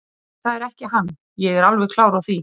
Nei, það er ekki hann, ég er alveg klár á því.